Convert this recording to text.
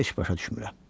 Heç başa düşmürəm.